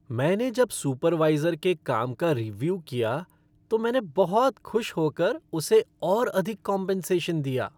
मैंने जब सुपरवाइज़र के काम का रीव्यू किया तो मैंने बहुत खुश होकर उसे और अधिक कॉम्पेन्सेशन दिया।